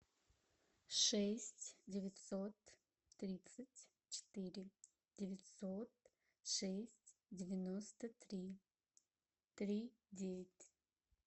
шесть девятьсот тридцать четыре девятьсот шесть девяносто три три девять